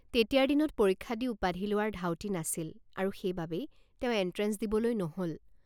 তেতিয়াৰ দিনত পৰীক্ষা দি উপাধি লোৱাৰ ধাউতি নাছিল আৰু সেইবাবেই তেওঁ এণ্ট্ৰেন্স দিবলৈ নহল।